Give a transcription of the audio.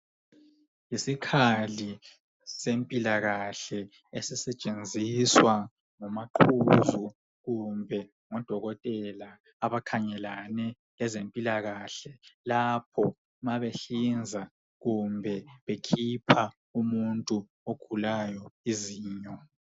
Isikhali sempilakahle esisetshenziswa ngomaqhuzu kumbe ngodokotela abakhangelane lezempilakahle lapho mabehlinza kumbe bekhipha umuntu ogulayo izinyo.